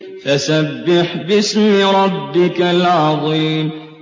فَسَبِّحْ بِاسْمِ رَبِّكَ الْعَظِيمِ